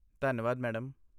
ਧੰਨਵਾਦ, ਮੈਡਮ।